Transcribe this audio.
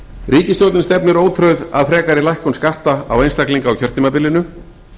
ríkisstjórnin stefnir ótrauð að frekari lækkun skatta á einstaklinga á kjörtímabilinu